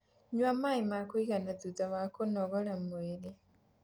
Nyua maĩ ma kuigana thutha wa kũnogora mwĩrĩ